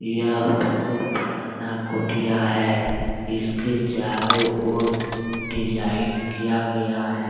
यह बहुत पुराना कुटिया है इसके चारों ओर डिजाइन किया गया है।